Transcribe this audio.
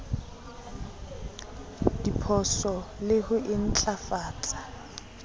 diphoso le ho e ntlafatsa